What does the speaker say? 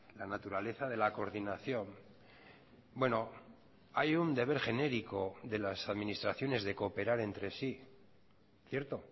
la naturaleza de la coordinación bueno hay un deber genérico de las administraciones de cooperar entre sí cierto